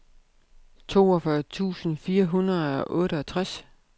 toogfyrre tusind fire hundrede og otteogtres